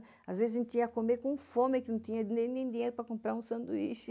Às vezes, a gente tinha que comer com fome, que não tinha nem dinheiro para comprar um sanduíche.